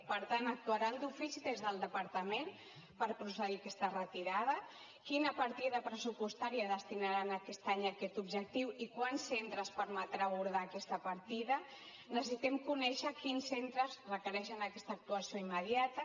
per tant actuaran d’ofici des del departament per procedir a aquesta retirada quina partida pressupostària destinaran aquest any a aquest objectiu i quants centres permetrà abordar aquesta partida necessitem conèixer quins centres requereixen aquesta actuació immediata